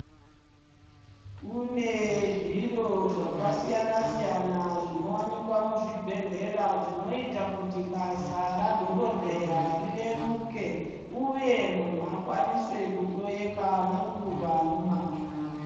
Kune zviro zvakasiyana siyana zvinowanikwa muzvibhedhlera zvinoita kuti basa radhokodheya rireruke uye munhu akwanise kuhloyeka nenguva nemazvo.